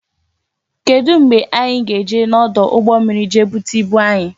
Kedu mgbe anyị ga-eje n'ọdụ ụgbọ mmiri je bute ibu anyị?